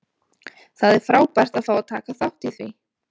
Það er frábært að fá að taka þátt í því.